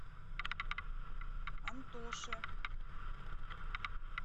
антоше